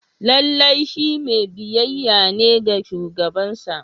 Lallai shi mai biyayya ne ga shugabansa